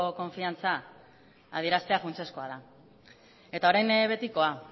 konfidantza adieraztea funtsezkoa da eta orain betikoa